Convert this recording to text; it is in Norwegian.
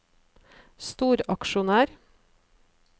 storaksjonær